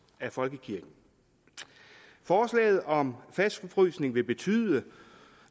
af folkekirken forslaget om fastfrysning vil betyde